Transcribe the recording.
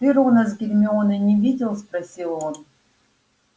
ты рона с гермионой не видел спросил он